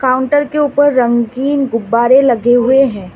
Counter के ऊपर रंगीन गुब्बारे लगे हुए हैं।